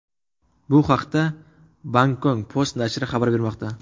Bu haqda Bangkok Post nashri xabar bermoqda .